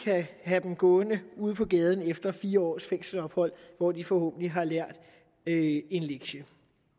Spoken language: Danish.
have dem gående ude på gaden efter fire års fængselsophold hvor de forhåbentlig har lært en lektie